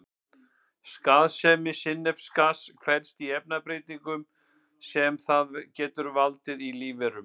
Skaðsemi sinnepsgass felst í efnabreytingum sem það getur valdið í lífverum.